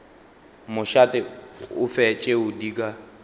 mošate ofe tšeo di ka